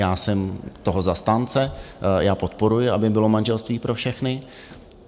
Já jsem toho zastánce, já podporuji, aby bylo manželství pro všechny.